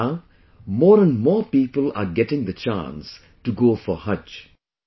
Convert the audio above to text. Now, more and more people are getting the chance to go for 'Haj'